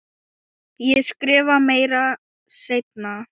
Ég skrifa meira seinna.